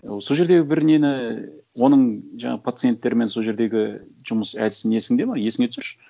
ол сол жердегі бір нені оның жаңағы пациенттермен сол жердегі жұмыс әдісін есіңде ме есіңе түсірші